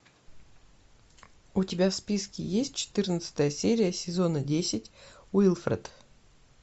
у тебя в списке есть четырнадцатая серия сезона десять уилфред